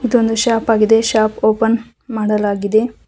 ಇದೊಂದು ಶಾಪ್ ಆಗಿದೆ shop open ಮಾಡಲಾಗಿದೆ.